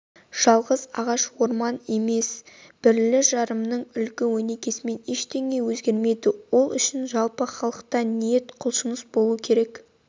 жалғыз ағаш орман емес бірлі-жарымның үлгі-өнегесімен ештеңе өзгермейді ол үшін жалпы халықта ниет құлшыныс болу керек